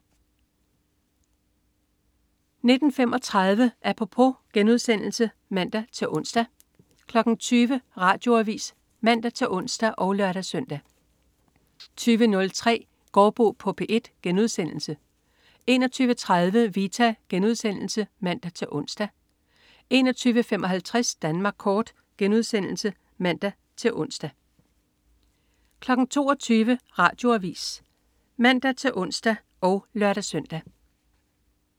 19.35 Apropos* (man-ons) 20.00 Radioavis (man-ons og lør-søn) 20.03 Gaardbo på P1* 21.30 Vita* (man-ons) 21.55 Danmark kort* (man-ons) 22.00 Radioavis (man-ons og lør-søn)